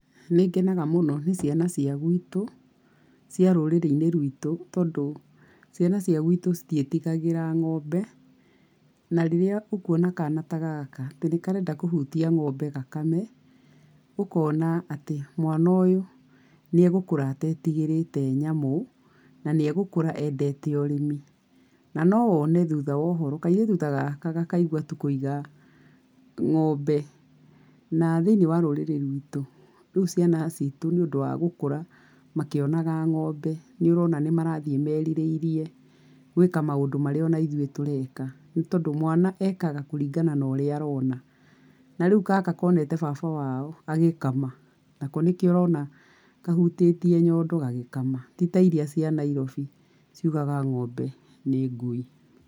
Nĩ ngenaga mũno nĩ ciana cia gwitũ, cia rũrĩrĩ-inĩ rwitũ tondũ ciana cia gwitũ citiĩtigagĩra ng'ombe. Na rĩrĩa ũkũona kana ta gaka atĩ nĩ karenda kũhutia ng'ombe gakame, ũkona atĩ mwana ũyũ nĩ egũkũra atetigĩrĩte nyamũ, na nĩ egũkũra endete ũrĩmi. Na no wone thutha wa ũhoro, kairĩtu ta gaka gakaigua tu kũiga ng'ombe. Na thĩiniĩ wa rũrĩrĩ rwitũ, rĩu ciana citũ nĩ ũndu wa gũkũra makĩonaga ng'ombe, nĩ ũrona marathiĩ merirĩirie gwĩka maũndũ marĩa o na ithuĩ tũreka nĩ tondũ mwana ekaga kũringana na ũrĩa arona. Na rĩu gaka koneta baba wao agĩkama, nako nĩkĩo ũrona kahutĩtie nyondo gagĩkama. Ti ta iria cia Nairobi ciugaga ng'ombe nĩ ngui.